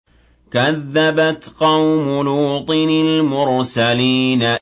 كَذَّبَتْ قَوْمُ لُوطٍ الْمُرْسَلِينَ